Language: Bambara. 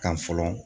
Kan fɔlɔ